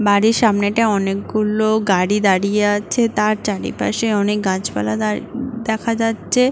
বাড়ির সামনেটা অনেকগুলো গাড়ি দাঁড়িয়ে আছে। তার চারপাশে অনেক গাছপালা তার দেখা যাচ্ছে।